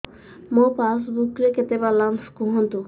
ମୋ ପାସବୁକ୍ ରେ କେତେ ବାଲାନ୍ସ କୁହନ୍ତୁ